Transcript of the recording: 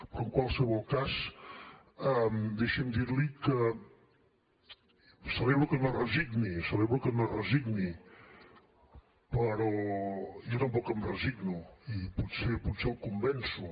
però en qualsevol cas deixi’m dir li que celebro que no es resigni celebro que no es resigni però jo tampoc em resigno i potser potser el convenço